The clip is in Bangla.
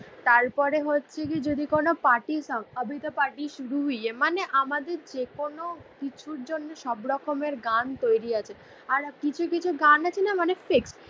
তারপরে হছে যদি কোনও পার্টি সঙ্গ আভি ত পার্টি সুর হুই হে মানে আমাদের যে কোনও কিছু জন্য সব রকমের গান তৈরি আছে আর কিছু কিছু গান আছে না মানে ফেক